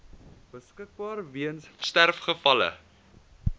beskikbaar weens sterfgevalle